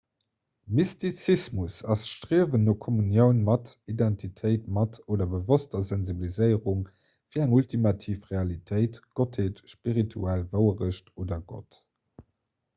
mystizismus ass d'striewen no kommunioun mat identitéit mat oder bewosster sensibiliséierung fir eng ultimativ realitéit gottheet spirituell wouerecht oder gott